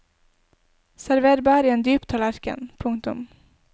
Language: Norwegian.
Server bær i en dyp tallerken. punktum